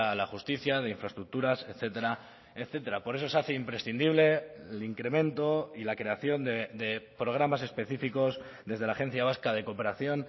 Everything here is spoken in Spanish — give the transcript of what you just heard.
la justicia de infraestructuras etcétera etcétera por eso se hace imprescindible el incremento y la creación de programas específicos desde la agencia vasca de cooperación